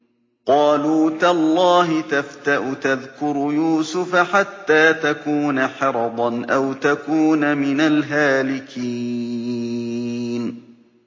قَالُوا تَاللَّهِ تَفْتَأُ تَذْكُرُ يُوسُفَ حَتَّىٰ تَكُونَ حَرَضًا أَوْ تَكُونَ مِنَ الْهَالِكِينَ